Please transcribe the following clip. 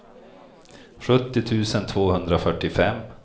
sjuttio tusen tvåhundrafyrtiofem